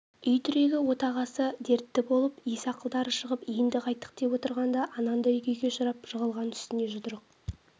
үй тірегі отағасы дертті болып ес-ақылдары шығып енді қайттік деп отырғанда анандай күйге ұшырап жығылған үстіне жұдырық